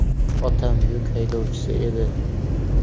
Otam yuk haydovchisi edi.